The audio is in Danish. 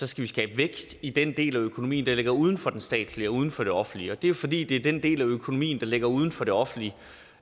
skal skabe vækst i den del af økonomien der ligger uden for det statslige og uden for det offentlige det er jo fordi det er den del af økonomien der ligger uden for det offentlige